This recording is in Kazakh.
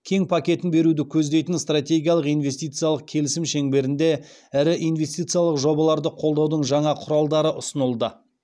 кең пакетін беруді көздейтін стратегиялық инвестициялық келісім шеңберінде ірі инвестициялық жобаларды қолдаудың жаңа құралдары ұсынылды